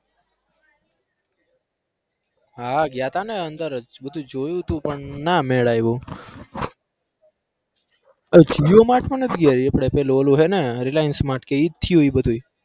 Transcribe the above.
હા ગ્યા તા ને અંદર બધું જોયું તું પણ ના મેલ આયો jio mart માં નથી ગયા આપડે પેલું ઓલું હે ને reliance mart કે ઈ જ થયું બધું એ?